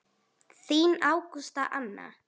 Þín Ágústa Anna.